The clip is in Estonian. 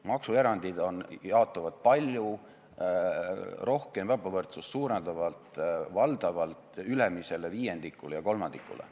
Maksuerandid jaotavad palju rohkem ebavõrdsust suurendavalt valdavalt ülemisele viiendikule ja kolmandikule.